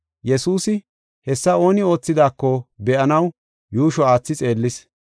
Yesuusi hessa ooni oothidaako be7anaw yuushshi aathi xeellis.